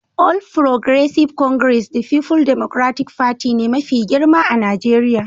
All Progressive Congress da People Democratic Party ne mafi girma a Najeriya